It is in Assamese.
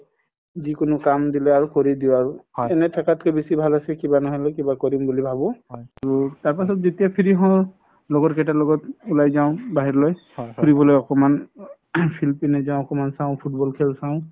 যিকোনো কাম দিলে আৰু কৰি দিও আৰু এনে থাকাত কে বেচি ভাল আছে কিবা নহয় কিবা কৰিম বুলি ভাবো তাৰ পাছত যেতিয়া free হও লগৰ কেইটাৰ লগত উলাই যাও বাহিৰলৈ ফুৰিবলৈ অকমাণ field পিনে যাও অকমাণ চাও football খেল চাও